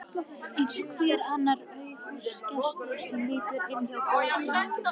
Eins og hver annar aufúsugestur sem lítur inn hjá góðkunningjum.